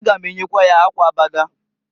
A ga m enyekwa ya akwa Abada.